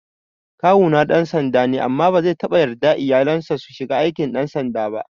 Kawuna ɗan sanda ne amma bazai taɓa yarda iyalansa su shiga aikin ɗan sanda ba